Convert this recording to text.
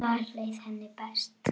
Þar leið henni best.